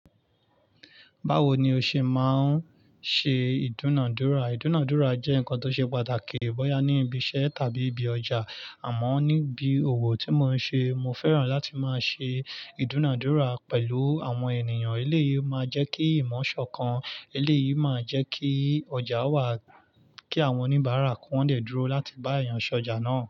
Báwo ni o ṣe máa ń ṣe ìdúnàádúrà? Ìdúnàádúrà jẹ́ nkan tó ṣe pàtàkì bọ́ya ní ibi iṣẹ́ tàbí ibi ọjà. Àmọ́ níbi òwò tí mo ń ṣe, mo fẹ́ràn láti máa ṣe ìdúnàádúrà pẹ̀lú àwọn ènìyàn. Éléyìí máa jẹ́ kí ìmọ̀ ṣọ̀kan, eléyìí máa jẹ́ kí ọjà wà, kí àwọn oníbàárà ki wọ́n dè dúró láti bá èèyàn ṣọjà náà.